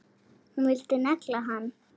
Hún vildi negla hann!